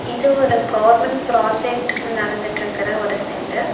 இது ஒரு government project நடந்துட்ருக்குற ஒரு சென்டர் .